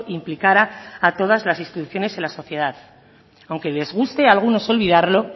implicara a todas las instituciones en la sociedad aunque les guste a algunos olvidarlo